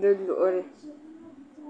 di luɣili